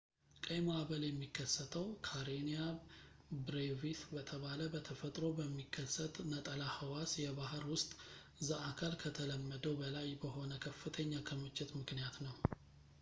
ቀይ ማዕበል የሚከሰተው ካሬኒያ ብሬቪስ በተባለ በተፈጥሮ በሚከሰት ነጠላ ሕዋስ የባሕር ውስጥ ዘአካል ከተለመደው በላይ በሆነ ከፍተኛ ክምችት ምክንያት ነው